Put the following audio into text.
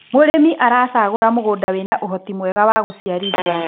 mũrĩmi aracagura mũgũnda wina uhoti mwega wa guciarithia